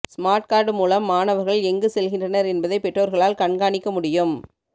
smart card மூலம் மாணவர்கள் எங்கு செல்கின்றனர் என்பதை பெற்றோர்களால் கண்காணிக்க முடியும்